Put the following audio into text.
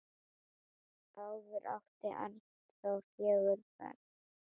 Áður átti Arnþór fjögur börn.